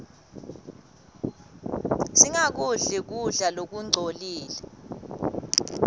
singakudli kudla lokungcolile